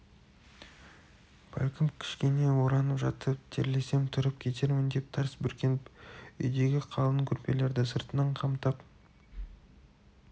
бәлкім кішкене оранып жатып терлесем тұрып кетермін деп тарс бүркеніп үйдегі қалың көрпелерді сыртынан қымтап